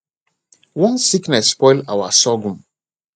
one sickness spoil our sorghum